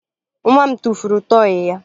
Nwa m tụfuru tọọyị ya